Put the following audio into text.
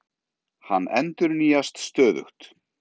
Hann endurnýjast stöðugt.